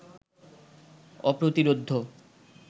অপ্রতিরোধ্য